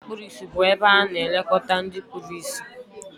Ụlọ ndị kpụrụ ịsị bu ebe ana elekota ndị kpụrụ ịsị.